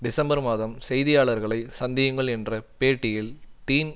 December மாதம் செய்தியாளர்களை சந்தியுங்கள் என்ற பேட்டியில் டீன்